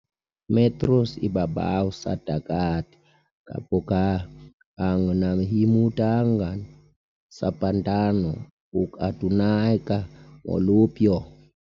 metros ibabaw sa dagat kahaboga ang nahimutangan sa Pantano, ug adunay ka molupyo.